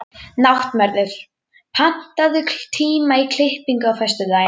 Náttmörður, pantaðu tíma í klippingu á föstudaginn.